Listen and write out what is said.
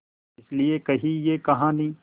इस लिये कही ये कहानी